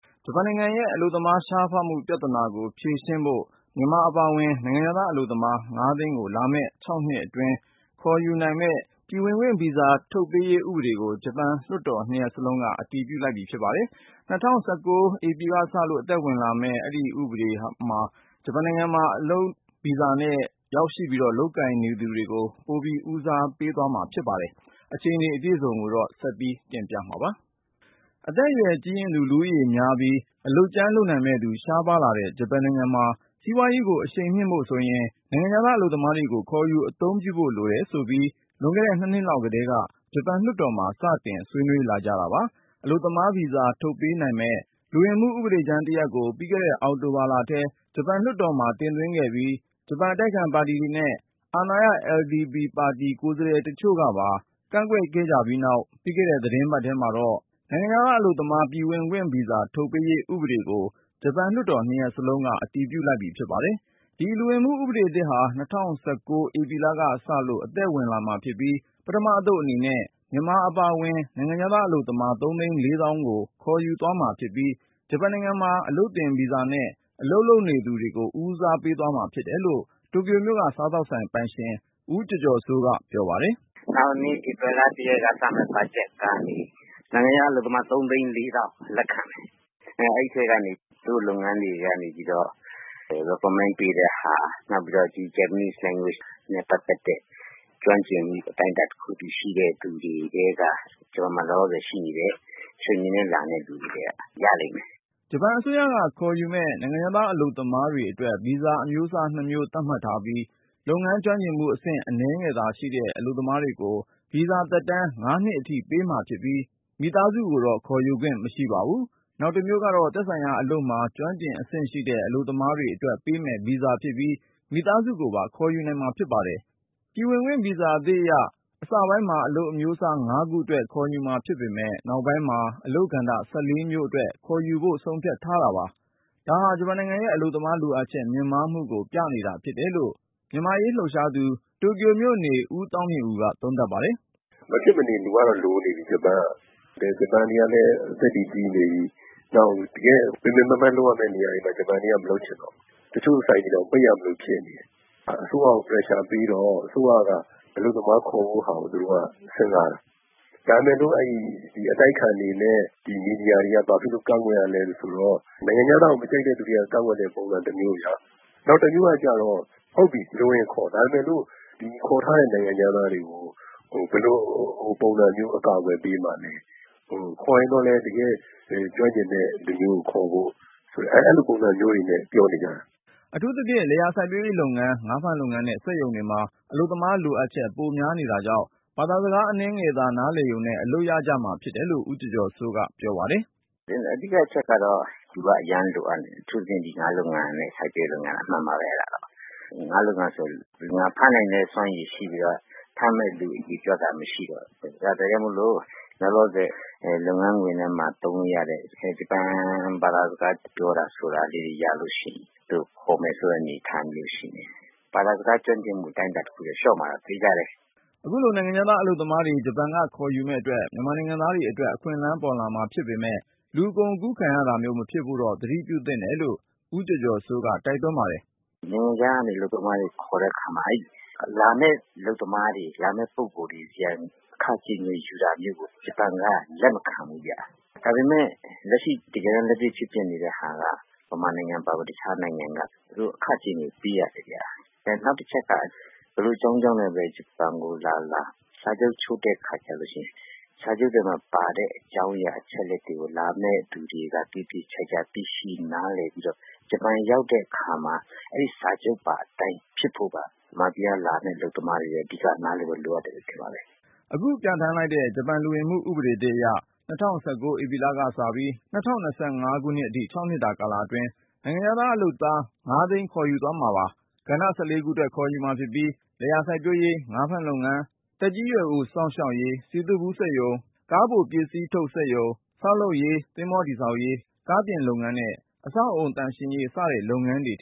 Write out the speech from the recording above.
ဂျပန်နိုင်ငံရဲ့အလုပ်သမား ရှားပါးမှုပြဿနာကိုဖြေရှင်းဖို့ မြန်မာအပါအဝင် နိုင်ငံခြားသား အလုပ်သမား (၅)သိန်းကို လာမယ့် ၆ နှစ်အတွင်း ခေါ်ယူနိုင်မယ့် ပြည်ဝင်ခွင့်ဗီဇာ ထုတ်ပေးရေး ဥပဒေကို ဂျပန်လွှတ်တော်နှစ်ရပ်စလုံးက အတည်ပြုလိုက်ပြီ ဖြစ်ပါတယ်။ အတိုက်အခံတွေရဲ့ ကန့်ကွက်မှုကို ရင်ဆိုင်ရပြီးနောက် အတည်ပြုလိုက်တဲ့ ဒီဥပဒေဟာ ၂၀၁၉ ဧပြီလကစလို့ အသက်ဝင်လာမှာဖြစ်ပြီး ဂျပန်နိုင်ငံမှာ အလုပ်သင် ဗီဇာနဲ့ ရောက်ရှိ လုပ်ကိုင်နေသူတွေကို ဦးစားပေးအနေနဲ့ အလုပ်လုပ်ခွင့် ဗီဇာတွေ ထုတ်ပေးသွားမှာ ဖြစ်ပါတယ်။ အခြေအနေအကြောင်းစုံ ကိုတော့ ကိုဉာဏ်ဝင်းအောင်က ပြောပြမှာပါ။ အသက်အရွယ်ကြီးရင့်သူ လူဦးရေများပြီး အလုပ်ကြမ်းလုပ်နိုင်မယ့်သူ ရှားပါးလာတဲ့ ဂျပန်နိုင်ငံမှာ စီးပွားရေးကို အရှိန်မြှင့်ဖို့ဆိုရင် နိုင်ငံခြား အလုပ်သမားတွေကို ခေါ်ယူ အသုံးပြုဖို့လိုတယ်ဆိုပြီး လွန်ခဲ့တဲ့ ၂ နှစ်လောက်ကတည်းက ဂျပန်လွှတ်တော်မှာ စတင် ဆွေးနွေးလာခဲ့ကြ တာပါ။ အလုပ်သမားဗီဇာ ထုတ်ပေးနိုင်မယ့် လူဝင်မှုဥပဒေကြမ်းတရပ်ကို ပြီးခဲ့တဲ့ အောက်တိုဘာလထဲ ဂျပန်လွှတ်တော်မှာ တင်သွင်းခဲ့ပြီး၊ ဂျပန် အတိုက်အခံပါတီတွေနဲ့ အာဏာရ LDP (Liberal Democratic Party of Japan) ပါတီကိုယ်စားလှယ်တချို့ကပါ ကန့်ကွက်ခဲ့ပြီးနောက် ပြီးခဲ့တဲ့ သီတင်းပတ်ထဲမှာတော့ နိုင်ငံခြားအလုပ်သမား ပြည်ဝင်ခွင့် ဗီဇာ ထုတ်ပေးရေး ဥပဒေကို ဂျပန်လွှတ်တော်နှစ်ရပ်စလုံးက အတည်ပြု လိုက်ပြီ ဖြစ်ပါတယ်။ ဒီလူဝင်မှုဥပဒေသစ်ဟာ ၂၀၁၉ ဧပြီလကစလို့ အသက်ဝင်မှာဖြစ်ပြီး ပထမ အသုတ် အနေနဲ့ မြန်မာအပါအဝင် နိုင်ငံခြားသား အလုပ်သမား ၃သိန်း ၄သောင်းကို ခေါ်ယူမှာ ဖြစ်ပါတယ်။ အဲဒီထဲက ဂျပန်နိုင်ငံမှာ အလုပ်သင်ဗီဇာ (Training Visa)နဲ့ အလုပ် လုပ်နေသူတွေကို ဦးစားပေးသွားမှာဖြစ်တယ်လို့ တိုကျိုမြို့က စားသောက်ဆိုင် ပိုင်ရှင် တဦးဖြစ်တဲ့ ဦးကျော်ကျော်စိုးက ပြောပါတယ်။ “နောင်နှစ် ဧပြီလ ၁ရက်ကစမယ့် ဘတ်ဂျက်ကနေ နိုင်ငံခြားသားအလုပ်သမား ၃သိန်း ၄သောင်းလက်ခံမယ်၊ အဲဒီထဲကနေ သူတို့လုပ်ငန်းတွေ ထဲကနေပြီးတော့ ထောက်ခံချက် ပေးပြီးပြန်ခေါ်ချင်သူတွေ၊ ဂျပန်ဘာသာစကား အတိုင်းအတာတခုထိ ကျွမ်းကျင်ပြီးသား လူတွေထဲက.. ဂျပန်မှာ လောလောဆယ်ရှိနေတဲ့ Training နဲ့ လာတဲ့လူတွေထဲက ရလိမ့်မယ်။” ဂျပန်အစိုးရက ခေါ်ယူမယ့် နိုင်ငံခြားသားအလုပ်သမားတွေအတွက် ဗီဇာအမျိုးအစား ၂ မျိုးသတ်မှတ်ထားပြီး၊ လုပ်ငန်းကျွမ်းကျင်မှုအဆင့် အနည်းငယ်သာရှိတဲ့ အလုပ် သမားတွေကို ဗီဇာသက်တမ်း ၅ နှစ်အထိပေးမှာဖြစ်ပြီး မိသားစုခေါ်ယူခွင့် မရှိပါဘူး။ နောက်တမျိုးကတော့သက်ဆိုင်ရာအလုပ်မှာ ကျွမ်းကျင်အဆင့်ရှိတဲ့ အလုပ်သမားတွေ အတွက်ပေးမယ့် ဗီဇာဖြစ်ပြီး မိသားစုကိုပါ ခေါ်ယူနိုင်မှာဖြစ်ပါတယ်။ ပြည်ဝင်ခွင့်ဗီဇာ အသစ်အရ အစပိုင်းမှာ အလုပ်အမျိုးအစား ၅ ခုအတွက် ခေါ်ယူမှာဖြစ်ပေမယ့် နောက်ပိုင်းမှာ အလုပ်ကဏ္ဍ (၁၄)မျိုးအတွက် ခေါ်ယူဖို့ ဆုံးဖြတ်ထားတာပါ။ ဒါဟာ ဂျပန်နိုင်ငံရဲ့အလုပ်သမားလိုအပ်ချက် မြင့်မားမှုကို ပြနေတာဖြစ်တယ်လို့ မြန်မာ့အရေး လှုပ်ရှားသူ တိုကျိုမြို့နေ ဦးသောင်းမြင့်ဦးက သုံးသပ်ပါတယ်။ “ ဂျပန်ကတော့ မဖြစ်မနေ လူကတော့လိုနေပြီ၊ ဒီမှာ ဂျပန်တွေကလည်း အသက်တွေ ကြီးနေပြီ။ နောက် တကယ့်ကို ပင်ပင်ပန်းပန်း လုပ်ရမယ့်နေရာတွေမှာ ဂျပန်တွေက မလုပ်ချင်တော့ဘူး။ တချို့ဆိုင်တွေတောင် ပိတ်ရမလို ဖြစ်နေတာ။ အဲဒါ အစိုးရကို ဖိအားပေးတော့ အစိုးရက အလုပ်သမားခေါ်ဖို့ဟာကို သူတို့စဉ်းစားတယ်။ ဒါပေမဲ့ အတိုက်အခံတွေနဲ့ မီဒီယာတွေက ဘာလို့ ကန့်ကွက်ကြသလဲဆိုတော့ နိုင်ငံခြားသားကို မကြိုက်လို့ ကန့်ကွက်တဲ့ ပုံစကတမျိုးရှိတယ်၊ နောက်တမျိုးကျတော့.. ဟုတ်ပြီ လိုရင်ခေါ် ဒါပေမယ်လို့ ခေါ်မယ့် နိုင်ငံခြားသားတွေကို ဘယ်လိုပုံစံနဲ့ အကာအကွယ်ပေးမှာလဲ။ ခေါ်ရင်တော့ တကယ့် ကျွမ်းကျင်တဲ့လူမျိုးကိုခေါ်ဖို့ အဲလိုပုံစံမျိုးတွေနဲ့ ပြောနေကြတာ။ ” အထူးသဖြင့် လယ်ယာ စိုက်ပျိုးရေးလုပ်ငန်း၊ ငါးဖမ်းလုပ်ငန်းနဲ့ စက်ရုံတွေမှာ အလုပ် သမား လိုအပ်ချက် ပိုများနေတာကြောင့် ဘာသာစကား အနည်းငယ်နားလည်ရုံနဲ့ အလုပ်ရရှိကြမှာ ဖြစ်တယ်လို့ ဦးကျော်ကျော်စိုးက ပြောပါတယ်။ “ အဓိကအချက်ကတော့ လူက အရမ်းလိုအပ်နေပြီ၊ အထူးသဖြင့် စိုက်ပျိုးရေးလုပ်ငန်းနဲ့ ငါးဖမ်းလုပ်ငန်းမှာပေါ့။ ငါးလုပ်ငန်းဆိုရင် ဖမ်းနိုင်တဲ့ ငါးက ရှိပြီးတော့ ငါးဖမ်းမယ့်သူက မရှိဘူးဖြစ်နေတာ။ ဒါကြောင့်မို့လို လောလောဆယ် လုပ်ငန်းခွင်ထဲ သုံးလို့ရမယ့် ဂျပန်စကား ပြောတာမျိုး ရလို့ရှိရင်တော့ သူတို့ခေါ်မယ်ဆိုတဲ့အနေအထား ရှိနေတယ်။ ဘာသာစကား ကျွမ်းကျင်မှု အတိုင်းအတာတခုထိ လျှော့မှာတော့ သေချာတယ်။ ” အခုလို နိုင်ငံခြားသားအလုပ်သမားတွေ ဂျပန်ကခေါ်ယူမယ့်အတွက် မြန်မာ နိုင်ငံသားတွေလည်း အခွင့်လမ်းပေါ်လာမှာဖြစ်မယ့် လူကုန်ကူး ခံရတာမျိုး မဖြစ်ဖို့တော့ သတိပြုသင့်တယ်လို့ ဦးကျော်ကျော်စိုးက တိုက်တွန်းပါတယ်။ “ နိုင်ငံခြားကနေ အလုပ်သမားတွေ ခေါ်တဲ့အခါမှာ အဲဒီလာမယ့် အလုပ်သမားတွေ ဆီကနေ အခကြေးငွေ ယူတာမျိုးကို ဂျပန်က လက်မခံဘူးဗျ။ ဒါပေမဲ့ လက်ရှိတကယ်တမ်း ဖြစ်ပျက်နေတာက မြန်မာနိုင်ငံအပါအဝင် အခြားနိုင်ငံတချို့မှာ အခကြေးငွေ ပေးနေရတယ်။ နောက်တချက်က ဘယ်လိုအကြောင်းကြောင့်ပဲ ဂျပန်ကိုလာလာ စာချုပ် ချုပ်တဲ့အခါ ကျရင်၊ စာချုပ်ထဲပါတဲ့ အကြောင်းအရာ အချက်အလက် တွေကို လာမယ့်သူတွေက သေသေချာချာ နားလည်သိရှိပြီးတော့ ဂျပန်ရောက်တဲ့အခါမှာ အဲဒီစာချုပ်ပါအတိုင်း ဖြစ်ဖို့က မြန်မာပြည်ကလာမယ့် အလုပ်သမားတွေ အဓိက နားလည်ဖို့လိုအပ်မယ်လို့ ထင်ပါတယ်။ ” အသစ်ပြဌာန်းလိုက်တဲ့ ဂျပန်လူဝင်မှုဥပဒေသစ်အရ ၂၀၁၉ ဧပြီလကစပြီး ၂၀၂၅ ခုနှစ် အထိ ၆ နှစ်တာကာလအတွင်း နိုင်ငံခြားသားလုပ်သား (၅)သိန်း ခေါ်ယူသွားမှာပါ။ လယ်ယာစိုက်ပျိုးရေး၊ ငါးဖမ်းလုပ်ငန်း၊ သက်ကြီးရွယ်အို စောင့်ရှောက်ရေး၊ စည်သွတ်ဗူး စက်ရုံ၊ ကားအပိုပစ္စည်းထုတ်စက်ရုံ၊ ဆောက်လုပ်ရေး၊ သင်္ဘော တည်ဆောက်ရေး၊ ကားပြင်လုပ်ငန်းနဲ့ အဆောက်အဦး သန့်ရေးရေး စတဲ့ လုပ်ငန်းတွေအ